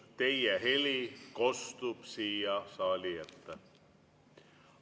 Teie heli kostub siia saali ette.